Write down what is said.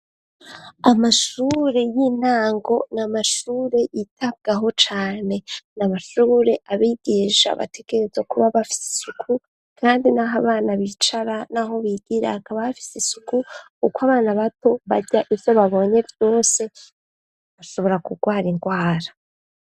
Amashure y'intango ni amashure yitabwaho cane n' amashure abigisha bategereza kuba bafise isuku, kandi n'aho abana bicara, naho bigira akabafise isuku uko abana bato barya ivyo babonye vyose bashobora kurwara indwara.